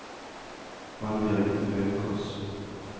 Annbjørg Haukås